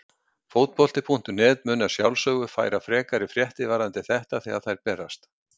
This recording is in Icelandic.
Fótbolti.net mun að sjálfsögðu færa frekari fréttir varðandi þetta þegar að þær berast.